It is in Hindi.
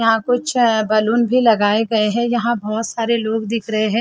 यहां कुछ बैलून भी लगाए गए हैं यहां बहुत सारे लोग दिख रहे हैं।